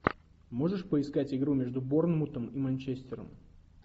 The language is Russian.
можешь поискать игру между борнмутом и манчестером